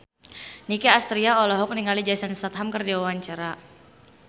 Nicky Astria olohok ningali Jason Statham keur diwawancara